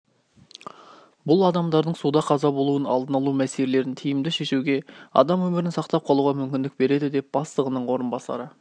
бұл адамдардың суда қаза болуын алдын алу мәселелерін тиімді шешуге адам өмірін сақтап қалуға мүмкіндік береді деді бастығының орынбасары